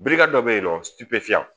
Birika dɔ bɛ yen nɔ